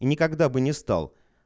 никогда бы не стал